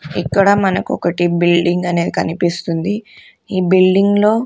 ఇక్కడ మనకు ఒకటి బిల్డింగ్ అనేది కనిపిస్తుంది ఈ బిల్డింగ్ లో--